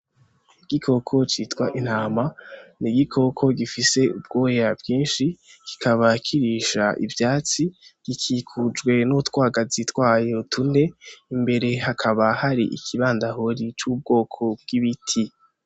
Igikoko citwa intama ni igikoko gifise ubwoya bwinshi kikaba kirisha ivyatsi gikikujwe n' utwagazi twayo tune imbere hakaba hari ikibandahori c'ubwoko bw'ibiti.